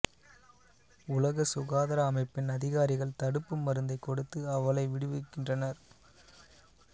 உலக சுகாதார அமைப்பின் அதிகாரிகள் தடுப்பு மருந்தை கொடுத்து அவளை விடுவிக்கின்றனர்